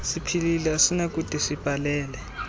siphilile asinakude sibhalele